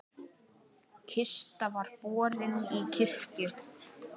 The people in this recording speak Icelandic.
Kista var borin í kirkju.